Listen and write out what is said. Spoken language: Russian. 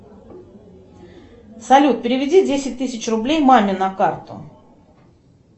салют переведи десять тысяч рублей маме на карту